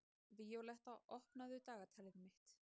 Víóletta, opnaðu dagatalið mitt.